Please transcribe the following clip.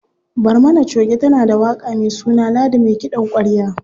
Barmana choge tana da waƙa me suna Ladi me kiɗan ƙwarya.